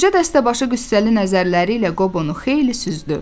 Qoca dəstəbaşı qüssəli nəzərləri ilə Qobonu xeyli süzdü.